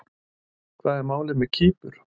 Hvað er málið með Kýpur?